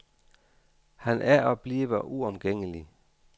Han er og bliver uomgængelig.